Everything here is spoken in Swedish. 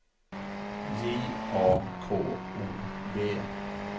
J A K O B